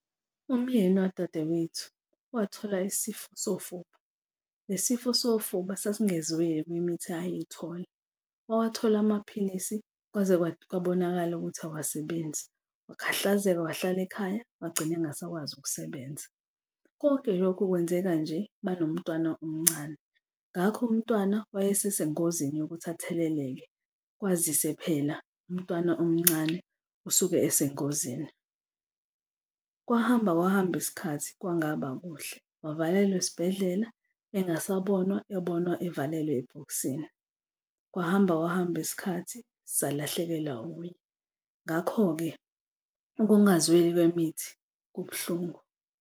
Umyeni wadadewethu wathola isifo sofuba. Le sifo sofuba sasingezweli kwimithi ayeyithola. Wathola amaphilisi kwaze kwabonakala ukuthi awasebenzi. Wakhahlazeka, wahlala ekhaya wagcine engasakwazi ukusebenza. Konke lokhu kwenzeka nje banomntwana omncane, ngakho umntwana wayesesengozini yokuthi atheleleke, kwazise phela umntwana omncane usuke esengozini. Kwahamba kwahamba isikhathi kwangaba kuhle wavalelwa esibhedlela engasabonwa, ebonwa evalelwe ebhokisini, kwahamba kwahamba isikhathi salahlekelwa nguye. Ngakho-ke ukungazweli kwemithi kubuhlungu.